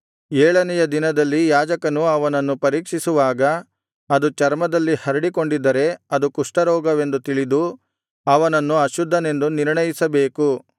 ಏಳನೆಯ ದಿನದಲ್ಲಿ ಯಾಜಕನು ಅವನನ್ನು ಪರೀಕ್ಷಿಸುವಾಗ ಅದು ಚರ್ಮದಲ್ಲಿ ಹರಡಿಕೊಂಡಿದ್ದರೆ ಅದು ಕುಷ್ಠರೋಗವೆಂದು ತಿಳಿದು ಅವನನ್ನು ಅಶುದ್ಧನೆಂದು ನಿರ್ಣಯಿಸಬೇಕು